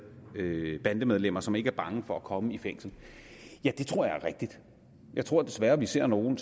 bandemedlemmer som ikke er bange for at komme i fængsel tror jeg er rigtigt jeg tror desværre vi ser nogle